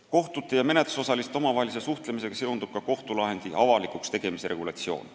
Kohtute ja menetlusosaliste omavahelise suhtlemisega seondub ka kohtulahendi avalikuks tegemise regulatsioon.